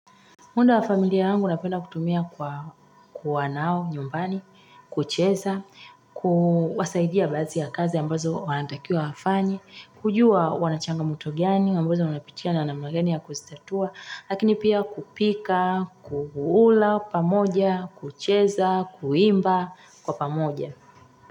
Muda wa familia yangu napenda kutumia kwa kuwa nao nyumbani, kucheza, kuwasaidia baadhi ya kazi ambazo wanatakiwa wafanye, kujua wanachangamoto gani ambazo wanapitia na namna gani ya kuzitatua, lakini pia kupika, kukula pamoja, kucheza, kuimba kwa pamoja.